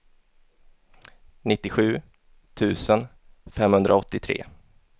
nittiosju tusen femhundraåttiotre